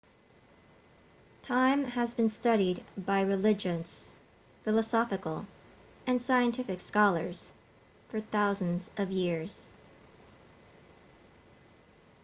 time has been studied by religious philosophical and scientific scholars for thousands of years